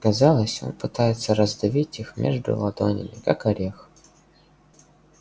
казалось он пытается раздавить их между ладонями как орех